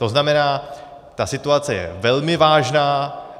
To znamená, ta situace je velmi vážná.